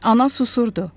Ana susurdu.